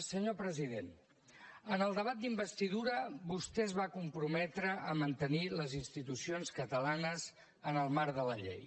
senyor president en el debat d’investidura vostè es va comprometre a mantenir les institucions catalanes en el marc de la llei